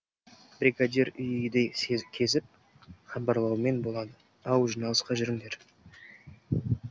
бригадир үй үйді кезіп хабарлаумен болады ау жиналысқа жүріңдер